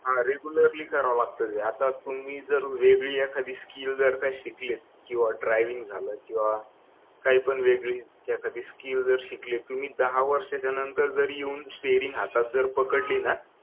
हा रेग्युलरली करावं लागतं ते आता तुम्ही जर वेगळे एखादी काही स्कीम जर शिकली आहे किंवा ड्रायव्हिंग झालं किंवा काही पण वेगळी एखादी स्किल जर शिकले तुम्ही दहा वर्षाच्या नंतर जरी तुम्ही स्टेरिंग हातात जर पकडली ना